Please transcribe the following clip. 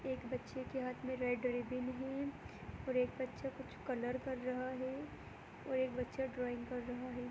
एक बच्चे के हाथ में रेड रिब्बन है और एक बच्चा कुछ कलर कर रहा है और एक बच्चा ड्राइंग कर रहा है।